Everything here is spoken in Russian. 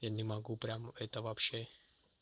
я не могу прямо это вообще